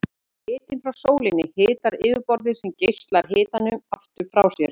Hitinn frá sólinni hitar yfirborðið sem geislar hitanum aftur frá sér.